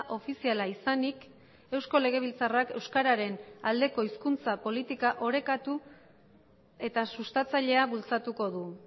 ofiziala izanik eusko legebiltzarrak euskararen aldeko hizkuntza politika orekatu eta sustatzailea bultzatuko du